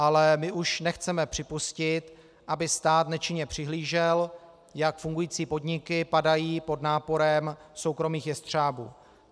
Ale my už nechceme připustit, aby stát nečinně přihlížel, jak fungující podniky padají pod náporem soukromých jestřábů.